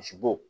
Misibo